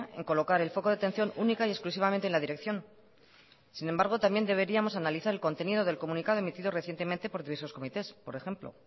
en colocar el foco de atención única y exclusivamente en la dirección sin embargo también deberíamos analizar el contenido del comunicado emitido recientemente por diversos comités por ejemplo